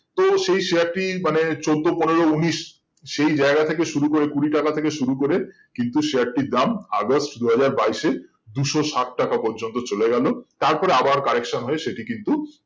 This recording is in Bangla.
তো সেই share টি মানে চোদ্দো পনেরো উনিশ সেই জায়গা থেকে শুরু করে কুড়ি টাকা থেকে শুরু করে কিন্তু share টির দাম অগাস্ট দুই হাজার বাইশে দুশো ষাট টাকা পর্যন্ত চলে গেল তারপরে আবার correction হয়ে সেটি কিন্তু